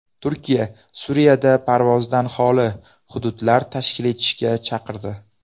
Turkiya Suriyada parvozdan holi hududlar tashkil etishga chaqirdi.